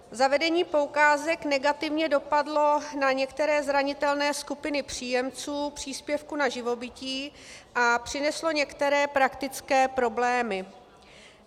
Zavedení poukázek negativně dopadlo na některé zranitelné skupiny příjemců příspěvku na živobytí a přineslo některé praktické problémy.